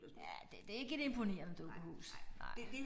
Ja det det ikke et imponerende dukkehus nej